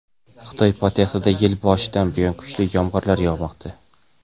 Xitoy poytaxtiga yil boshidan buyon kuchli yomg‘ir yog‘moqda.